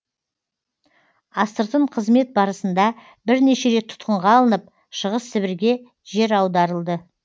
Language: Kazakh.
астыртын қызмет барысында бірнеше рет тұтқынға алынып шығыс сібірге жер аударылды